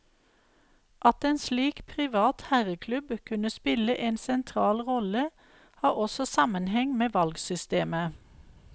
At en slik privat herreklubb kunne spille en sentral rolle, har også sammenheng med valgsystemet.